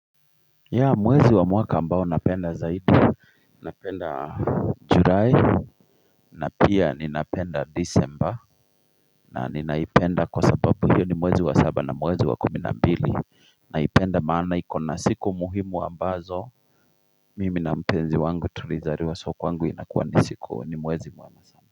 Ya mwezi wa mwaka ambao napenda zaidi, napenda julai na pia ninapenda disemba na ninaipenda kwa sababu hiyo ni mwezi wa saba na mwezi wa kumi na mbili Naipenda maana ikona siku muhimu ambazo mimi na mpenzi wangu tulizaliwa so kwangu inakuwa ni siku ni mwezi mwana sa.